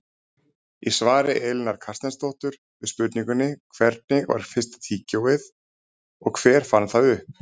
Í svari Elínar Carstensdóttur við spurningunni Hvernig var fyrsta tyggjóið og hver fann það upp?